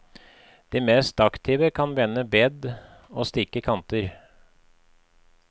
De mest aktive kan vende bed og stikke kanter.